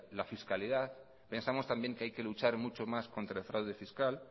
la fiscalidad pensamos también que hay que luchar mucho más contra el fraude fiscal